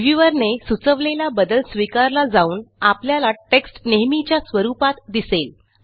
reviewer ने सुचवलेला बदल स्वीकारला जाऊन आपल्याला टेक्स्ट नेहमीच्या स्वरुपात दिसेल